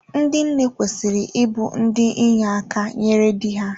Ndị nne kwesịrị ịbụ ndị inye aka nyere dị ha.